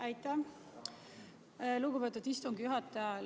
Aitäh, lugupeetud istungi juhataja!